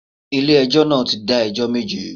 Ilé ẹjọ́ náà ti dá ẹjọ́ méje